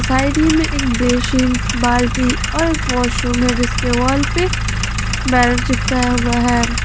एक बेसिन बाल्टी और वॉशरूम में जिसके वॉल पे बैनर चिपकाया हुआ है।